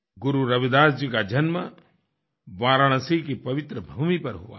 गुरु रविदास जी का जन्म वाराणसी की पवित्र भूमि पर हुआ था